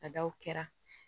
Ka da o kɛra